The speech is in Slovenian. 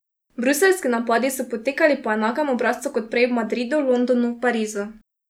Bruseljski napadi so potekali po enakem obrazcu kot prej v Madridu, Londonu, Parizu.